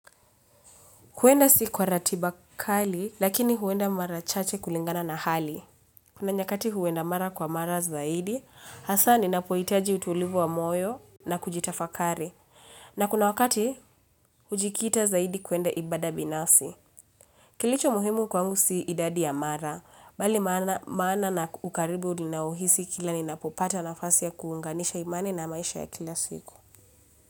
Kuenda si kwa ratiba kali, lakini huenda mara chache kulingana na hali. Kuna nyakati huenda mara kwa mara zaidi, hasa ni napohitaji utulivu wa moyo na kujitafakari. Na kuna wakati, hujikita zaidi kuenda ibada binafsi. Kilicho muhimu kwangu si idadi ya mara, bali maana na ukaribu ninaohisi kila ninapopata nafasi ya kuunganisha imani na maisha ya kila siku.